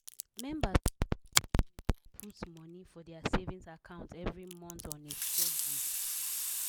members y put money for their savings account every month on a steady